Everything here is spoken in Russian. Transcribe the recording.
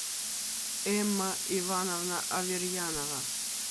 эмма ивановна аверьянова